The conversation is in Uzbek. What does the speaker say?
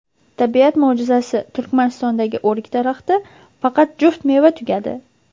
Tabiat mo‘jizasi: Turkmanistondagi o‘rik daraxti faqat juft meva tugadi .